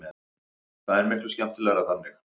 Það er miklu skemmtilegra þannig.